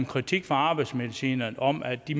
kritik fra arbejdsmedicinerne om at de